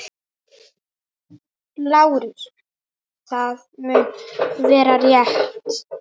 LÁRUS: Það mun vera- rétt.